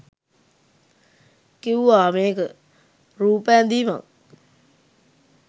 කිව්වා මේක රූප ඇඳීමක්